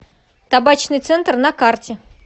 табачный центр на карте